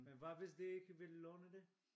Men hvad hvis de ikke vil låne det?